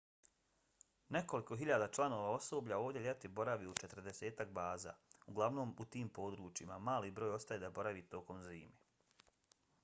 nekoliko hiljada članova osoblja ovdje ljeti boravi u četrdesetak baza uglavnom u tim područjima; mali broj ostaje da boravi tokom zime